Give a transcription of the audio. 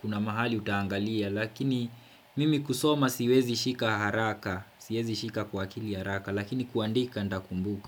Kuna mahali utangalia lakini mimi kusoma siwezi shika haraka, siwezi shika kwa akili haraka lakini kuandika ndakumbuka.